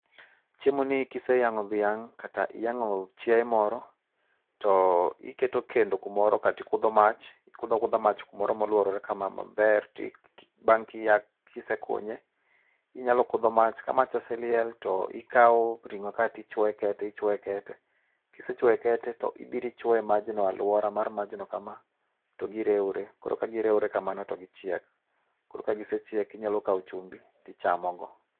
Chiemo ni kiseyang'o dhiang kata yang'o chiaye moro to iketo kendo kumoro kaeto ikudho mach. Ikudho akudha mach kumoro moluorore ka maber. Bang' kisekunye inyalo kudho mach. Ka mach oseliel to ikaw ring'o kaeto ichwoe kete ichwoe kete. Kisechwoe kete to ibiro ichwoe majno aluora mar majno kama to girewore. Koro kagi rewpre kamano to gichiek. Koro ka gisechiek inyalo chumbi tichamogo.